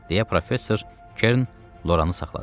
Deyə professor Kern Loranı saxladı.